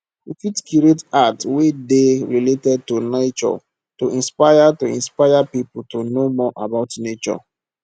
we fit create art wey dey related to nature to inspire to inspire pipo to know more about nature